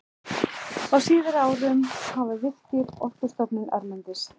Á síðari árum hafa Virkir, Orkustofnun erlendis